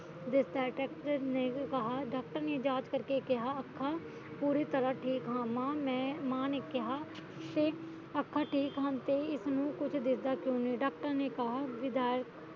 ਨੇ ਕਿਹਾ doctor ਨੇ ਜਾਂਚ ਕਰਕੇ ਕਿਹਾ ਅੱਖਾ ਪੂਰੀ ਤਰਾ ਠੀਕ ਮਾਂ ਨੇ ਕਿਹਾ ਅੱਖਾ ਠੀਕ ਹਨ ਤੇ ਇਸਨੂੰ ਕੁਛ ਦਿਸਦਾ ਕਿਉ ਨੀ doctor ਨੇ ਕਿਹ